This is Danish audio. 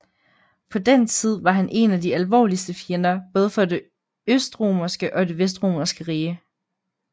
På den tid var han én af de alvorligste fjender både for det østromerske og det vestromerske rige